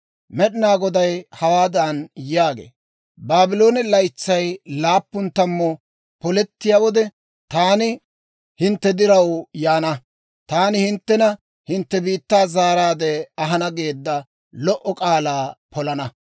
«Med'inaa Goday hawaadan yaagee; ‹Baabloone laytsay laappun tammuu polettiyaa wode, taani hintte diraw yaana; Taani hinttena hintte biittaa zaaraadde ahana geedda lo"o k'aalaa polana.